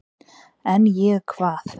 """En ég, hvað?"""